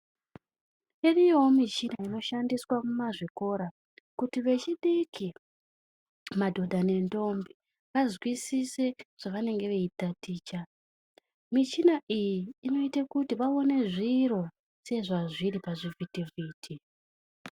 Iriyoo michina inoshandiswa mumazvikora kuti vechidiki, madhodha nendombi azwisise zvavangenge veitaticha michina iyi inoita kuti vaone zviro sezvazviri pazvivhiti vhiti.